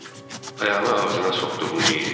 ayağını ağzına soxduğunu deyirdi.